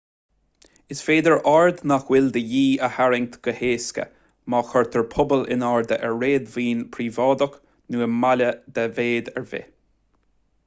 is féidir aird nach bhfuil de dhíth a tharraingt go héasca má chuirtear puball in airde ar réadmhaoin phríobháideach nó i mbaile de mhéid ar bith